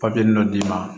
Papiye dɔ d'i ma